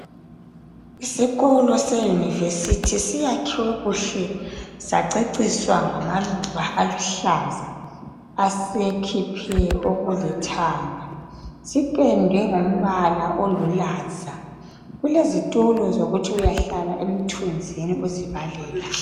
Isikolo seyunivesithi siyakhiwe kuhle saceciswa ngamaluba aluhlaza, asekhiphe okulithanga. Sipendwe ngombala olulaza, kulezitulo zokuthi uyahlala emthunzini uzibalela.